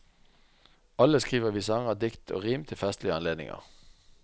Alle skriver vi sanger, dikt og rim til festlige anledninger.